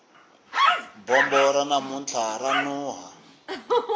bombo ra namuntlha ra nuha